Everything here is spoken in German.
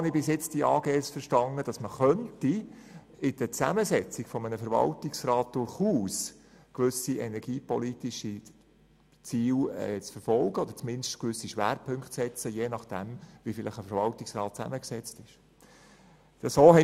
So wie ich Aktiengesellschaften bisher verstanden habe, könnte man aber über die Zusammensetzung des Verwaltungsrats durchaus energiepolitische Ziele verfolgen oder mindestens gewisse Schwerpunkte setzen.